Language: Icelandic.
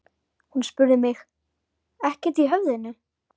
Hún spurði mig: ekkert í höfðinu?